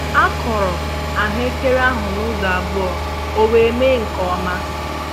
A kụrụ ahụekere ahụ nụzọ abụọ ka owe mee nkè ọma